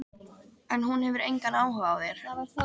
En hún hefur engan áhuga á þér.